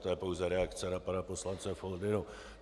To je pouze reakce na pana poslance Foldynu.